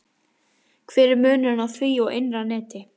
Hver er munurinn á því og innra neti?